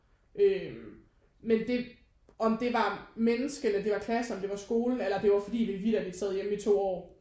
Øh men det om det var menneskerne det var klasserne det var skolen eller det var fordi vi vitterligt sad hjemme i to år